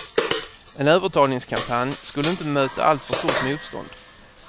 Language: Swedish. En övertalningskampanj skulle inte möta alltför stort motstånd.